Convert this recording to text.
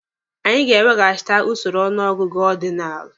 Anyị ga-eweghachite usoro ọnụ ọgụgụ ọdinalụ.